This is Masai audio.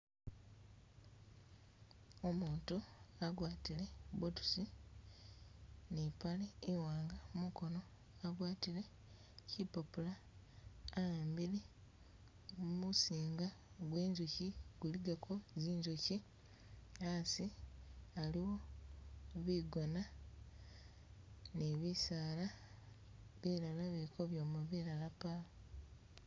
Umutu agwatile boots, ni ipaale iwanga mukoono agwatile kipapula ahambile musinga gwe inzuki guligako zinzuki asi aliwo bigoona ni bisaala bilala bili kabyoma bilala pawo.